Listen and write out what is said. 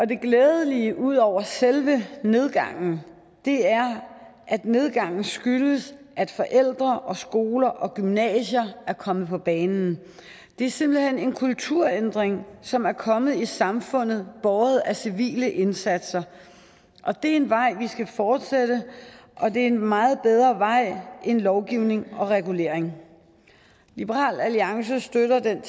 det glædelige ud over selve nedgangen er at nedgangen skyldes at forældre og skoler og gymnasier er kommet på banen det er simpelt hen en kulturændring som er kommet i samfundet båret af civile indsatser og det er en vej vi skal fortsætte og det er en meget bedre vej end lovgivning og regulering liberal alliance støtter den